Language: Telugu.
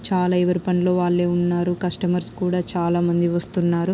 చాలా ఎవరి పనిలో వాళ్ళే ఉన్నారు. కస్టమర్స్ కూడా చాలా మంది వస్తున్నారు.